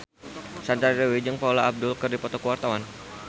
Sandra Dewi jeung Paula Abdul keur dipoto ku wartawan